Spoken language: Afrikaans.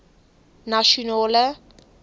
nasionale